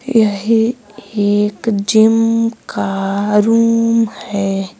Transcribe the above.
यह एक जिम का रूम है।